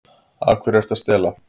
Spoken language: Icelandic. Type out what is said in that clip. Af hverju ertu að stela?